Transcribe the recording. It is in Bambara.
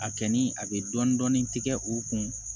A kɛ ni a bɛ dɔɔnin dɔɔnin tigɛ u kun